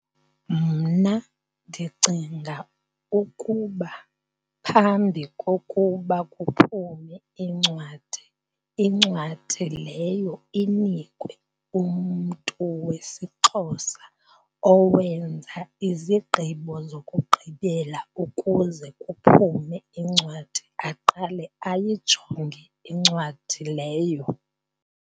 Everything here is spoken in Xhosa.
Mna ndicinga ukuba phambi kokuba kuphume iincwadi, incwadi leyo inikwe umntu wesiXhosa owenza izigqibo zokugqibela. Ukuze kuphume incwadi, aqale ayijonge incwadi leyo.